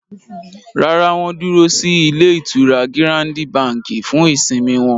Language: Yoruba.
Rárá, wọ́n dúró sí ilé-ìtura Gírándi Bàǹkì fún ìsimi wọn.